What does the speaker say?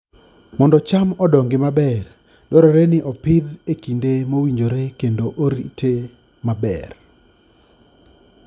Mondo cham odongi maber, dwarore ni opidhe e kinde mowinjore kendo orite maber.